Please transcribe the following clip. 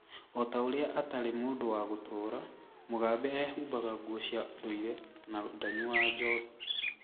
O ta ũrĩa atarĩ mũndũ wa gũtũũra, Mugabe eehumbaga nguo cia ndũire na ndaanyuaga njohi.